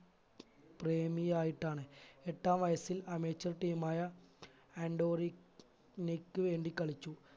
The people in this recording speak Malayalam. പ്രേമി ആയിട്ടാണ് എട്ടാം വയസിൽ amateur team ആയ ആൻറ്റോ റിക് നിക്ക് വേണ്ടി കളിച്ചു